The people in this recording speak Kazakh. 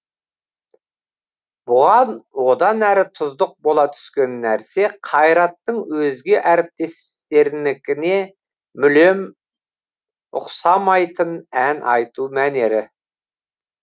бұған одан әрі тұздық бола түскен нәрсе қайраттың өзге әріптестерінікіне мүлем ұқсамайтын ән айту мәнері